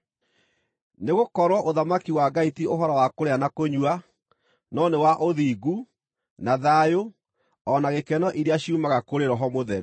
Nĩgũkorwo ũthamaki wa Ngai ti ũhoro wa kũrĩa na kũnyua, no nĩ wa ũthingu, na thayũ o na gĩkeno iria ciumaga kũrĩ Roho Mũtheru,